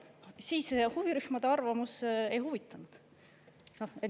Aga siis huvirühmade arvamus ei huvitanud.